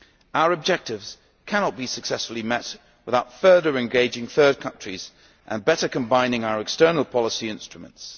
Our objectives cannot be successfully met without further engaging third countries and better combining our external policy instruments.